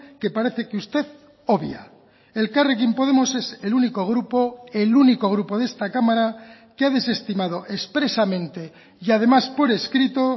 que parece que usted obvia elkarrekin podemos es el único grupo el único grupo de esta cámara que ha desestimado expresamente y además por escrito